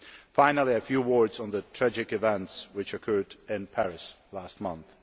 Finally, a few words on the tragic events which occurred in Paris last month.